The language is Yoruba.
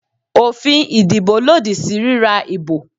Òfin ìdìbò lòdì sí ríra ìbò